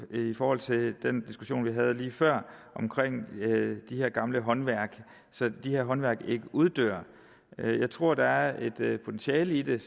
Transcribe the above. i forhold til den diskussion vi havde lige før om de her gamle håndværk så de her håndværk ikke uddør jeg tror der er et potentiale i det